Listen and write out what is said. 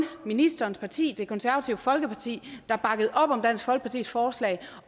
ministerens parti det konservative folkeparti der bakkede op om dansk folkepartis forslag